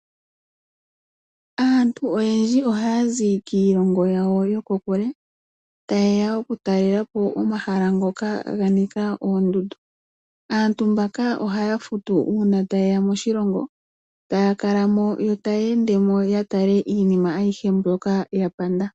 Aantu oyendji oha yazi kiilongo yawo yokokule, ta yeya okutalelapo omahala ngoka ganika oondudu, aantu mbaka ohaya futu uuna ta yeya moshilongo, taya kalamo yo ta yendemo yatale iinima ayihe mbyoka ya panda.